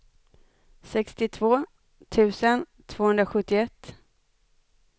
sextiotvå tusen tvåhundrasjuttioett